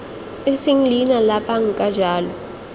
eseng leina la banka jalo